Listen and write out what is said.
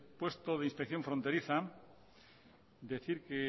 puesto de inspección fronteriza decir